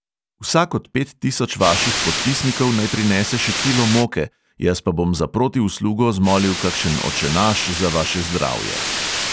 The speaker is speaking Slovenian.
Vsak od pet tisoč vaših podpisnikov naj prinese še kilo moke, jaz pa bom za protiuslugo zmolil kakšen očenaš za vaše zdravje.